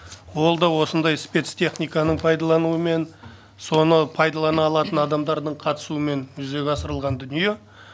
ол да осындай спецтехниканы пайдалануымен соны пайдалана алатын адамдардың қатысуымен жүзеге асырылған дүние